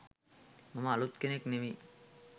මම අලුත් කෙනෙක් නෙවෙයි